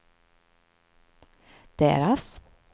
deras